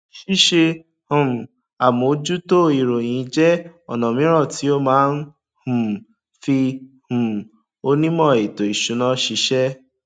ṣíṣe um àmójútó ìròyìn jẹ ọnà míràn tí ó má ń um fí um onímò ètò ìsúná ṣíṣẹ